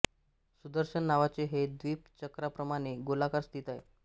सुदर्शन नावाचे हे द्वीप चक्राप्रमाणे गोलाकार स्थित आहे